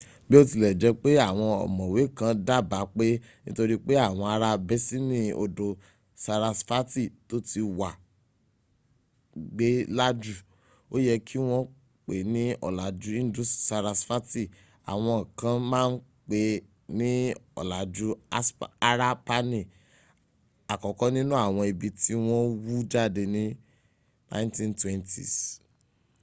biotilejepe awon omowe kan daba pe nitori pe awon ara besini odo sarasfati to ti wa gbe laju o ye ki won pe ni olaju indus-sarasfati awon kan maa n pe ni olaju harapani akoko ninu awon ibi ti won wu jade ni 1920s